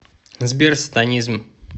сбер сатанизм